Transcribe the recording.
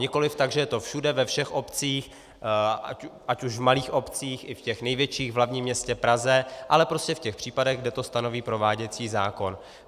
Nikoli tak, že je to všude, ve všech obcích, ať už v malých obcích, i v těch největších, v hlavním městě Praze, ale prostě v těch případech, kde to stanoví prováděcí zákon.